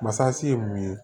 Masasi ye mun ye